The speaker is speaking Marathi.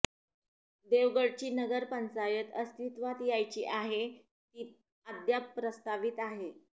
देवगडची नगर पंचायत अस्तित्वात यायची आहे ती अद्याप प्रस्तावित आहे